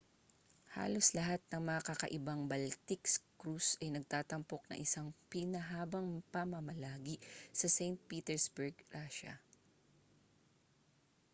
halos lahat ng mga kakaibang baltic cruise ay nagtatampok ng isang pinahabang pamamalagi sa st petersburg russia